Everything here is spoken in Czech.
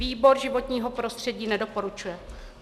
Výbor životního prostředí nedoporučuje.